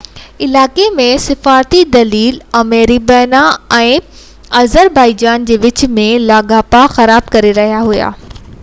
علائقي ۾ سفارتي دليل آرمينيا ۽ آذربائيجان جي وچ ۾ لاڳاپا خراب ڪري رهيا هئا